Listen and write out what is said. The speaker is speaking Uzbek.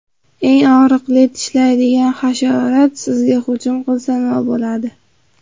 Eng og‘riqli tishlaydigan hasharot sizga hujum qilsa nima bo‘ladi?